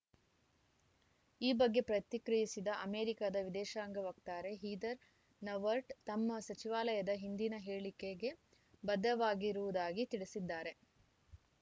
ಈ ಬಗ್ಗೆ ಪ್ರತಿಕ್ರಿಯಿಸಿದ ಅಮೆರಿಕ ವಿದೇಶಾಂಗ ವಕ್ತಾರೆ ಹೀದರ್‌ ನೌವರ್ಟ್‌ ತಮ್ಮ ಸಚಿವಾಲಯದ ಹಿಂದಿನ ಹೇಳಿಕೆಗೆ ಬದ್ಧವಾಗಿರುವುದಾಗಿ ತಿಳಿಸಿದ್ದಾರೆ